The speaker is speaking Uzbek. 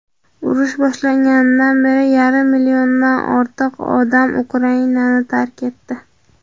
urush boshlanganidan beri yarim milliondan ortiq odam Ukrainani tark etdi.